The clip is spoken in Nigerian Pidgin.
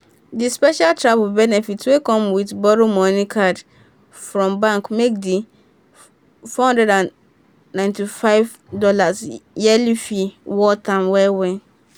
the special travel benefits wey come with borrow money card from bank make the four hundred and ninety five dollars yearly fee worth am well-well.